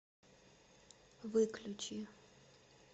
выключи